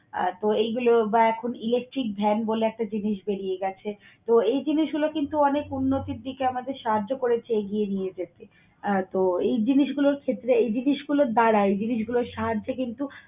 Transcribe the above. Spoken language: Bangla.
আহ তো এইগুলো বা এখন electric van বলে একটা জিনিস বেরিয়ে গেছে তো এই জিনিসগুলো কিন্তু অনেক উন্নতির দিকে আমাদের সাহায্য করেছে এগিয়ে নিয়ে যেতে। আহ তো এই জিনিসগুলোর ক্ষেত্রে এই জিনিসগুলোর দ্বারা এই জিনিসগুলো সাহায্যে কিন্তু